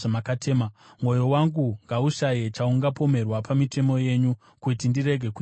Mwoyo wangu ngaushaye chaungapomerwa pamitemo yenyu, kuti ndirege kunyadziswa.